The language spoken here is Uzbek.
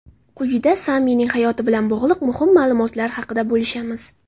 Quyida Samining hayoti bilan bog‘liq muhim ma’lumotlar haqida bo‘lishamiz.